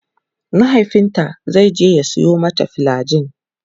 mahaifinta zaije ya Sayo mata flagyl